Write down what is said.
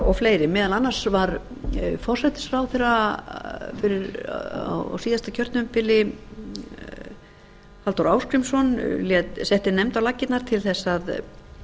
og fleiri meðal annars var forsætisráðherra á síðasta kjörtímabili halldór ásgrímsson setti nefnd á laggirnar til þess að